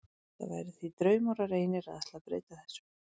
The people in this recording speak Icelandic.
Það væri því draumórar einir að ætla að breyta þessu.